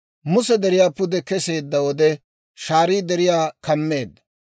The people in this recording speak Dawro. Muse deriyaa pude keseedda wode, shaarii deriyaa kammeedda.